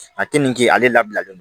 A tɛ min kɛ ale labilalen no